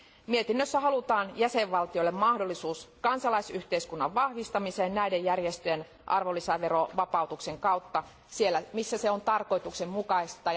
Mietinnössä halutaan jäsenvaltioille mahdollisuus kansalaisyhteiskunnan vahvistamiseen näiden järjestöjen arvonlisäverovapautuksen kautta siellä, missä se on tarkoituksen mukaista.